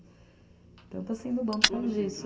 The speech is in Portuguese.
Então, está sendo bom por causa disso.